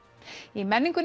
í menningunni